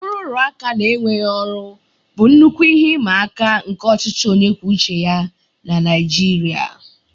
Nrụrụaka na enweghị ọrụ bụ nnukwu ihe ịma aka nke ọchịchị onye kwuo uche ya na Naijiria